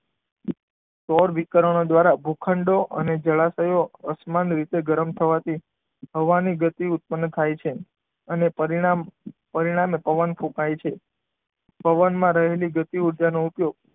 સૌર વિકર્ણો દ્વારા ભૂખંડ અને જળાશયો અસમાન રીતે ગરમ થવાથી હવાની ગતિ ઉત્પન્ન થાય છે. અને પરિણામ, પરિણામે પવન ફૂંકાય છે. પવનમાં રહેલી ગતિ ઉર્જા નો ઉપયોગ,